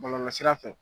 Bɔlɔlɔsira fɛ